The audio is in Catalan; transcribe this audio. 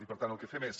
i per tant el que fem és